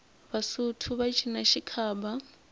vasotho va cina xikhaba